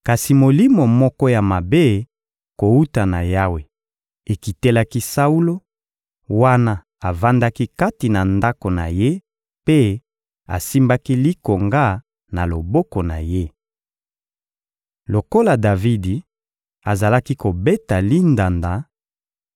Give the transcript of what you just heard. Kasi molimo moko ya mabe kowuta na Yawe ekitelaki Saulo, wana avandaki kati na ndako na ye mpe asimbaki likonga na loboko na ye. Lokola Davidi azalaki kobeta lindanda,